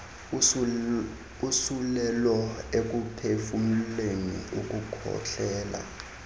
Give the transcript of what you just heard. usulelo ekuphefumleni ukukhohlela